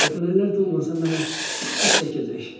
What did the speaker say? Kəpənəklər də olmasa mənə kim baş çəkəcək?